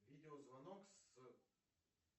видеозвонок с